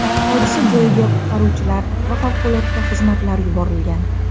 Hodisa joyiga qutqaruvchilar va favqulodda xizmatlar yuborilgan.